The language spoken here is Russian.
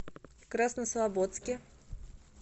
краснослободске